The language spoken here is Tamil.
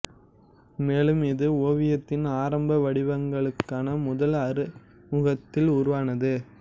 மேலும் இது ஓவியத்தின் ஆரம்ப வடிவங்களுக்கான முதல் அறிமுகத்தில் உருவானது